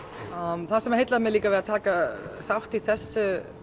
það sem heillaði mig líka að taka þátt í þessu